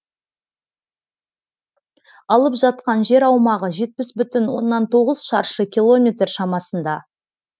алып жатқан жер аумағы жетпіс бүтін оннан тоғыз шаршы километр шамасында